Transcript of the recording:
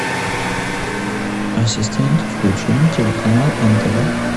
ассистент включи мне телеканал нтв